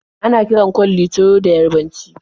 Ana kiran kwalli "Tiro" da Yarabanci.